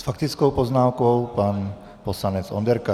S faktickou poznámkou pan poslanec Onderka.